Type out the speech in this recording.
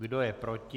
Kdo je proti?